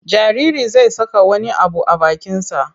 Jaririi zai saka wani abu a bakinsa.